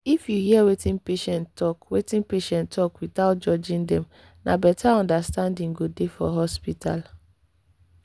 if you hear wetin patient talk wetin patient talk without judging dem na better understanding go dey for hospital.